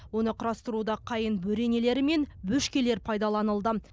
оны құрастыруда қайың бөренелері мен бөшкелер пайдаланылды